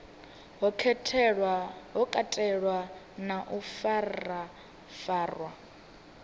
ho katelwa na u farafarwa